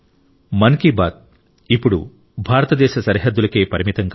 మన్ కీ బాత్ ఇప్పుడు భారతదేశ సరిహద్దులకే పరిమితం కాదు